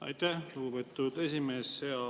Aitäh, lugupeetud esimees!